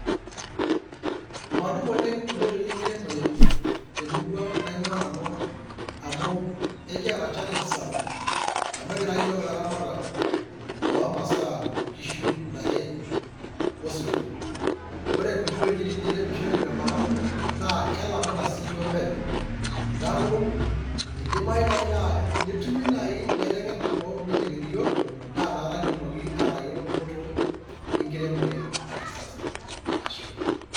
Madup oleng inkoitoi enkiremore temurua naingwaa nanu amu ekiata challenge sapuk amu ekira iyiook ilaramatak loo masaa kishu. intare o sirkon. Ore nkuti wujiti neiremishoreki tenkop ang ,naa kelamita sii yiook penyo nieaku eidimayu naji naa tenetumi nai ilaitengenak opuonu aitengen iyiook naa inakata kitumoki aatayiolo dupoto enkiremore e kisasa, ashe oleng!.